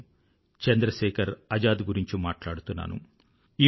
నేను చంద్ర శేఖర్ ఆజాద్ గురించి మాట్లాడుతున్నాను